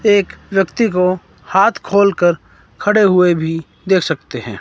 एक व्यक्ती को हाथ खोलकर खड़े हुए भी देख सकते हैं।